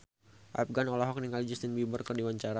Afgan olohok ningali Justin Beiber keur diwawancara